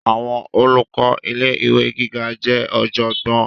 Àwọn olùkọ ilé ìwé gíga jẹ ọjọgbọn.